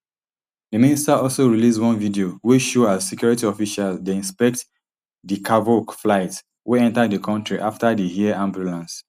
di minister also release one video wey show as security officials dey inspect di cavok flight wey enta di kontri afta di air ambulance